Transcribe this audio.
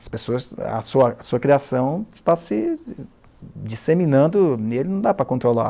As pessoas, a sua a sua criação está se disseminando nele, não dá para controlar.